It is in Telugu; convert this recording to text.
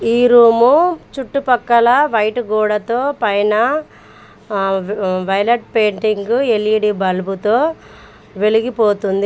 ఈ రూము చుట్టుపక్కల వైట్ గోడతో పైన ఆ వై వైలెట్ పెయింటింగ్ ఎల్_ఈ_డి బల్బుతో వెలిగిపోతుంది.